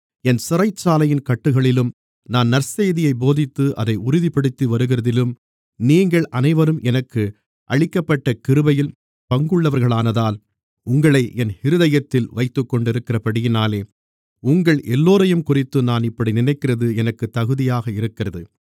என் சிறைச்சாலையின் கட்டுகளிலும் நான் நற்செய்தியைப் போதித்து அதைத் உறுதிப்படுத்திவருகிறதிலும் நீங்கள் அனைவரும் எனக்கு அளிக்கப்பட்ட கிருபையில் பங்குள்ளவர்களானதால் உங்களை என் இருதயத்தில் வைத்துக்கொண்டிருக்கிறபடியினாலே உங்கள் எல்லோரையும்குறித்து நான் இப்படி நினைக்கிறது எனக்குத் தகுதியாக இருக்கிறது